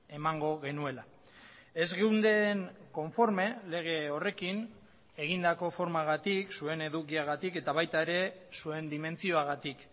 emango genuela ez geunden konforme lege horrekin egindako formagatik zuen edukiagatik eta baita ere zuen dimentsioagatik